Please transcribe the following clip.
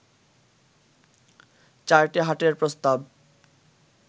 চারটি হাটের প্রস্তাব